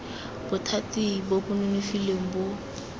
bothati bo bo nonofileng bo